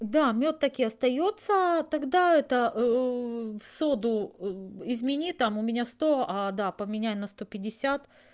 да мёд так и остаётся тогда это соду измени там у меня сто да поменяй на сто пятьдесят